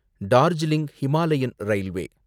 Darjeeling Himalayan railway